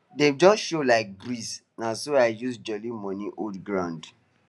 dem just show like breeze na so i use jolly money hold ground